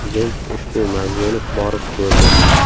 Prezident ushbu mavzeni borib ko‘rdi.